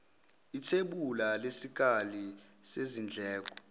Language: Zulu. ithebula lesikali sezindleko